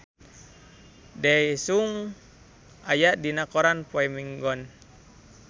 Daesung aya dina koran poe Minggon